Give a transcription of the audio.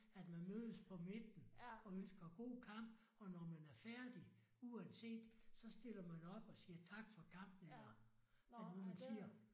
At man mødes på midten og ønsker god kamp og når man er færdig uanset så stiller man op og siger tak for kamp eller hvad er det nu man siger?